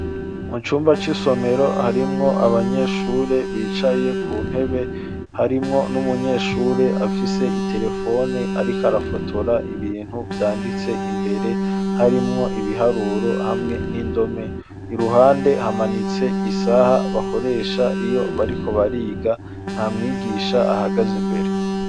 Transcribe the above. Mu cumba c'isomero, harimwo abanyeshure, bicaye ku ntebe, harimwo n'umunyeshure, afise iterefone, ariko arafotora, ibintu vyanditse imbere, harimwo ibiharuro, hamwe n'indome; iruhande, hamanitse isaha, bakoresha, iyo bariko bariga; nta mwigisha ahagaze imbere.